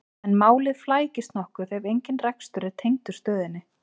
en málið flækist nokkuð ef engin rekstur er tengdur stöðinni